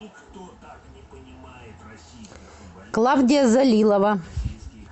клавдия залилова